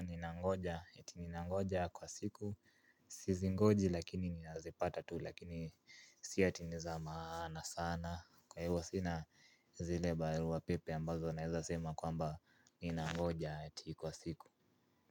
ninangoja eti ninangoja kwa siku. Sizingoji lakini ninazipata tu lakini si ati ni za maana sana. Kwa hivyo sina zile barua pepe ambazo naeza sema kwamba ninangoja eti kwa siku.